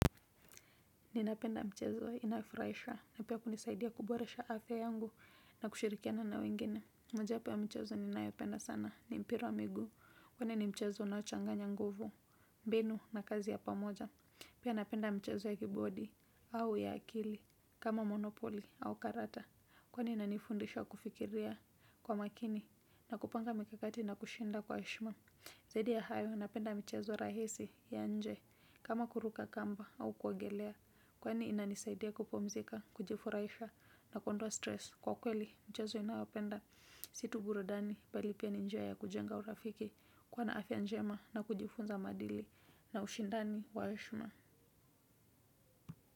Ninapenda mchezo inayofurahisha na pia kunisaidia kuboresha afya yangu na kushirikiana na wengine. Mojawapo ya mchezo ninayopenda sana ni mpira wa miguu. Kwani ni mchezo unaochanganya nguvu, mbinu na kazi ya pamoja. Pia napenda mchezo ya keyboard au ya akili kama monopoly au karata. Kwani inanifundisha kufikiria kwa makini na kupanga mikakati na kushinda kwa heshima. Zaidi ya hayo napenda michezo rahisi ya nje kama kuruka kamba au kuogelea kwani inanisaidia kupumzika, kujifurahisha na kuondoa stress. Kwa kweli mchezo inayopenda si tu burudani bali pia ni njia ya kujenga urafiki kuwa na afya njema na kujifunza maadili na ushindani wa heshima.